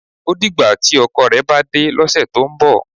O dìgbà tí ọkọ rẹ̀ bá dé lọ́sẹ̀ tó ń bọ̀.